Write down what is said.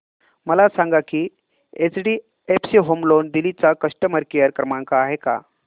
मला सांगा की एचडीएफसी होम लोन दिल्ली चा कस्टमर केयर क्रमांक आहे का